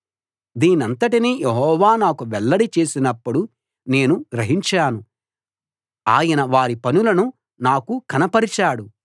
దీనంతటినీ Jehovah నాకు వెల్లడి చేసినప్పుడు నేను గ్రహించాను ఆయన వారి పనులను నాకు కనపరిచాడు